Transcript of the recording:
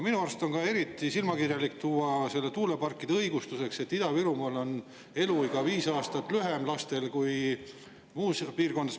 Minu arust on ka eriti silmakirjalik tuua tuuleparkide õigustuseks see, et Ida-Virumaal on laste eluiga viis aastat lühem kui muudes piirkondades.